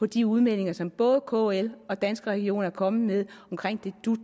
de udmeldinger som både kl og danske regioner er kommet med omkring det dut